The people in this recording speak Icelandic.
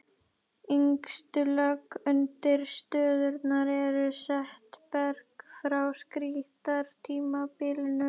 Yngstu lög undirstöðunnar eru setberg frá krítartímabilinu.